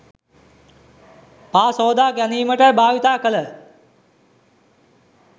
පා සෝදා ගැනීමට භාවිත කළ